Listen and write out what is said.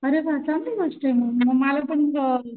अरे वाह चांगली गोष्ट मग मग मला पण अ